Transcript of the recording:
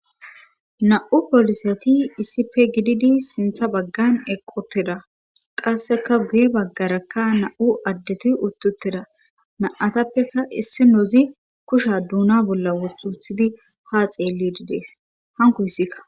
na7u polisati issipe gididi sintha baggan eqqoteda qasseka guye baggarakka na7u addeti uttutteda na7atappeka issi nozi kusha duuna bolla wothuthidi haa xeellididees hankosikka